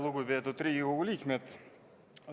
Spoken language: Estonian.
Lugupeetud Riigikogu liikmed!